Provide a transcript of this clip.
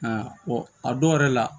a dɔw yɛrɛ la